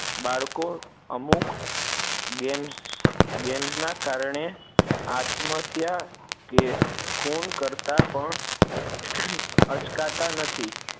બાળકો અમુક gamesgames ના કારણે આત્મહત્યા કે ખૂન કરતાં પણ અચકાતા નથી